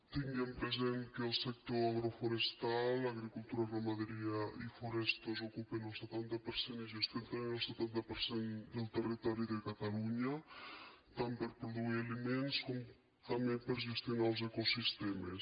tinguem present que el sector agroforestal agricultura ramaderia i forests ocupa el setanta per cent i gestiona també el setanta per cent del territori de catalunya tant per a produir aliments com també per a gestionar els ecosistemes